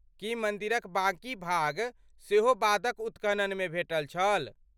की मन्दिरक बाकी भाग सेहो बादक उत्खननमे भेटल छल?